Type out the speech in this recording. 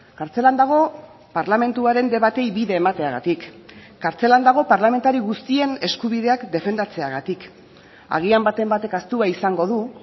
kartzelan dago parlamentuaren debateei bide emateagatik kartzelan dago parlamentari guztien eskubideak defendatzeagatik agian baten batek ahaztua izango du